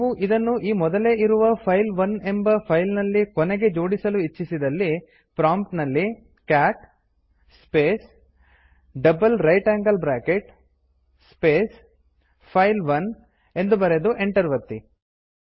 ನೀವು ಇದನ್ನು ಈ ಮೊದಲೇ ಇರುವ ಫೈಲ್ 1 ಎಂಬ ಫೈಲ್ ನಲ್ಲಿ ಕೊನೆಗೆ ಜೋಡಿಸಲಿ ಇಚ್ಛಿಸಿದಲ್ಲಿ ಪ್ರಾಂಪ್ಟ್ ನಲ್ಲಿ cat space GT GT space file 1 ಎಂದು ಬರೆದು ಎಂಟರ್ ಒತ್ತಿ